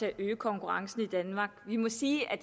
at øge konkurrencen i danmark vi må sige at